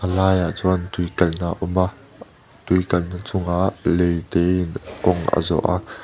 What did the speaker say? a laiah chuan tui kal na a awm a tui kalna chungah lei te in kawng a zawh a.